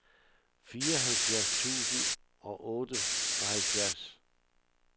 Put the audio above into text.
fireoghalvfjerds tusind og otteoghalvfjerds